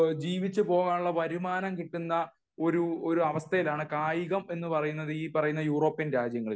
ജീവിച്ചു പോവാനുള്ള വരുമാനം കിട്ടുന്ന ഒരു അവസ്ഥയിലാണ് കായികം എന്ന് പറയുന്ന ഈ പറയുന്ന യൂറോപ്യൻ രാജ്യങ്ങളിൽ